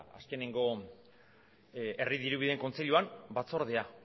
azkenengo herri dirubideen kontseiluan batzordea